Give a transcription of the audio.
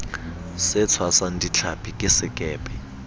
se tshwasang dihlapi ke sekepe